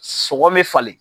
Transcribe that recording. Sɔgɔn mɛ falen